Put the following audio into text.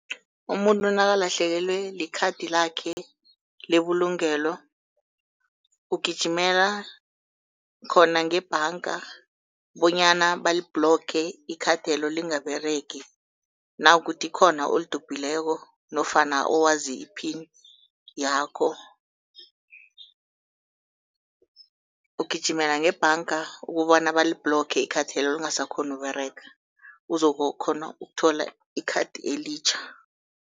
Umuntu nakalahlekelwe likhathi lakhe lebulungelo, ugijimela khona ngebhanga bonyana balibhloge ikhathelo lingaberegi. Nakukukuthi khona olidobhileko nofana owazi i-pin yakho, ugijimela ngebhanga ukobana balibhloge ikhathelo lingasakghoni ukUberega uzokukhona ukuthola ikhathi elitjha.